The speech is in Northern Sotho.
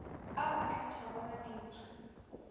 ao a hlathago madiri a